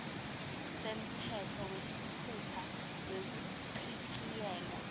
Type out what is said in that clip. semtsetfo wesitfupha wekuchitjiyelwa